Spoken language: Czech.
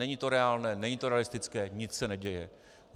Není to reálné, není to realistické, nic se neděje.